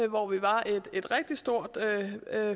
hvor vi var et rigtig stort